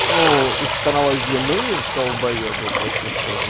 ну из канала зимы далбоебы точно скажу